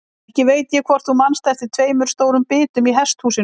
Ekki veit ég hvort þú manst eftir tveimur stórum bitum í hesthúsinu.